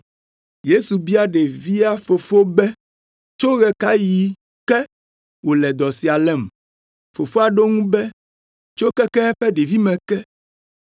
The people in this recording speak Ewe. Yesu bia ɖevia fofo be, “Tso ɣe ka ɣi ke wòle dɔ sia lém?” Fofoa ɖo eŋu be, “Tso keke eƒe ɖevime ke.